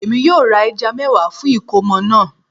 Èmi yóò ra ẹja mẹ́wàá fún ìkómọ̀ náà